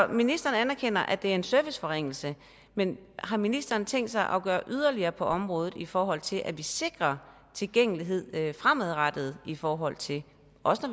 ministeren anerkender at det er en serviceforringelse men har ministeren tænkt sig at gøre yderligere på området i forhold til at vi sikrer tilgængelighed fremadrettet i forhold til når